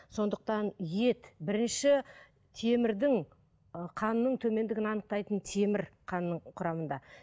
сондықтан ет бірінші темірдің қанның төмендігін анықтайтын темір қанның құрамында